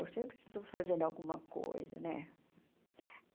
Eu sempre estou fazendo alguma coisa, né?